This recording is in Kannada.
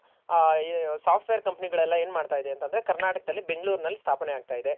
ಒಂದು software company ಗಳೆಲ್ಲ ಏನ್ ಮಾಡ್ತಾ ಇದೆ ಅಂತ ಅಂದ್ರೆ ಕರ್ನಾಟಕದಲ್ಲಿ ಬೆಂಗಳೂರ್ ನಲ್ ಸ್ಥಾಪನೆ ಆಗ್ತಾ ಇದೆ